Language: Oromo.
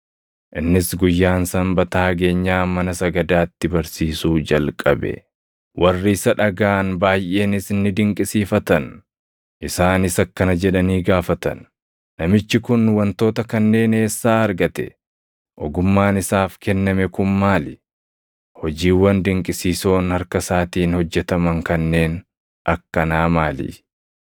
Innis guyyaan Sanbataa geenyaan mana sagadaatti barsiisuu jalqabe; warri isa dhagaʼan baayʼeenis ni dinqisiifatan. Isaanis akkana jedhanii gaafatan; “Namichi kun wantoota kanneen eessaa argate? Ogummaan isaaf kenname kun maali? Hojiiwwan dinqisiisoon harka isaatiin hojjetaman kanneen akkanaa maali?